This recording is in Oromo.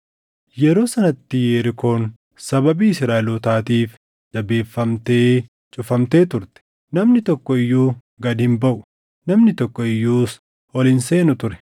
Yeroo sanatti Yerikoon sababii Israaʼelootaatiif jabeeffamtee cufamtee turte. Namni tokko iyyuu gad hin baʼu; namni tokko iyyuus ol hin seenu ture.